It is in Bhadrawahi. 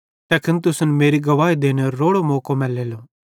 तैखन तुसन मेरी गवाही देनेरो रोड़ो मौको मैलेलो